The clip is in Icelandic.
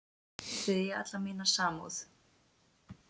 Þið eigið alla mína samúð.